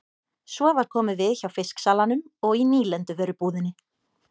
Svo var komið við hjá fisksalanum og í nýlenduvörubúðinni.